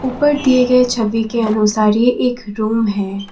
ऊपर दिए गए छवि के अनुसार ये एक रूम है।